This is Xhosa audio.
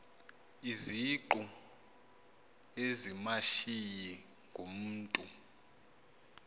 izingqu ezimashiyi ngumntu